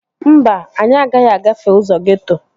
Mba, anyị agaghị agafe ụzọ geeto